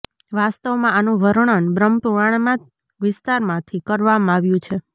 વાસ્તવમાં આનુ વર્ણન બ્રહ્મપુરાણમાં વિસ્તારથી કરવામાં આવ્યુ છે